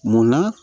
Munna